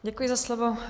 Děkuji za slovo.